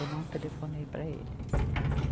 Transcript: Eu não telefonei para ele.